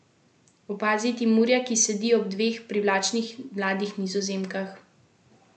Opazi Timurja, ki sedi ob dveh privlačnih mladih Nizozemkah.